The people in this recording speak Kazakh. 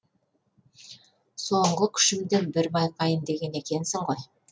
соңғы күшімді бір байқайын деген екенсің ғой